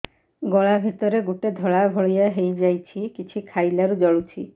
ଗଳା ଭିତରେ ଗୋଟେ ଧଳା ଭଳିଆ ହେଇ ଯାଇଛି କିଛି ଖାଇଲାରୁ ଜଳୁଛି